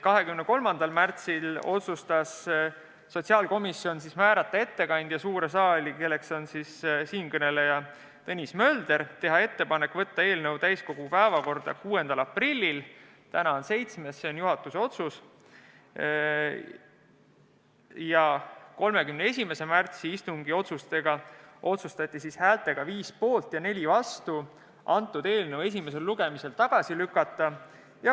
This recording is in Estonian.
23. märtsil otsustas sotsiaalkomisjon määrata suurde saali ettekandjaks siinkõneleja Tõnis Möldri, teha ettepanek võtta eelnõu täiskogu päevakorda 6. aprilliks – täna on küll 7., sest juhatus tegi vahepeal uue otsuse – ning 31. märtsil otsustati eelnõu esimesel lugemisel tagasi lükata.